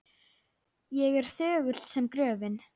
Ég er þögull sem gröfin.